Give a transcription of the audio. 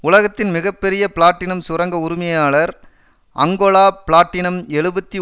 உலகத்தின் மிக பெரிய பிளாட்டினம் சுரங்க உரிமையாளர் அங்கொலா பிளாட்டினம் எழுபத்து